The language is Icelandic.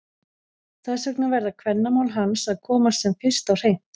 Þess vegna verða kvennamál hans að komast sem fyrst á hreint!